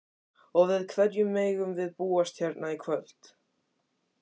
Og við hverju megum við búast hérna í kvöld?